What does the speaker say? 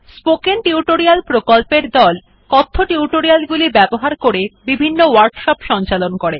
spoken tutorial প্রকল্পর দল কথ্য টিউটোরিয়াল গুলি ব্যবহার করে বিভিন্ন ওয়ার্কশপ সঞ্চালন করে